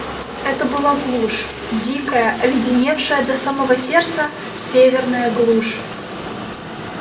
это была глушь дикая оледеневшая до самого сердца северная глушь